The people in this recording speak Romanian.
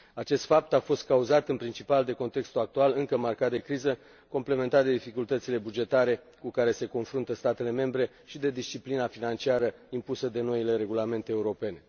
Acest fapt a fost cauzat, în principal, de contextul actual, încă marcat de criză, complementat de dificultățile bugetare cu care se confruntă statele membre și de disciplina financiară impusă de noile regulamente europene.